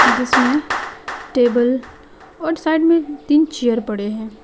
जिसमें टेबल और साइड में तीन चेयर पड़े हैं।